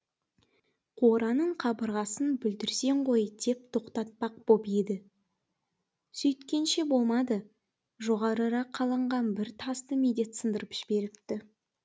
қораның қабырғасын бүлдіресің ғой деп тоқтатпақ боп еді сөйткенше болмады жоғарырақ қаланған бір тасты медет сындырып жіберіпті